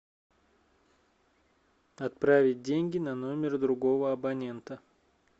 отправить деньги на номер другого абонента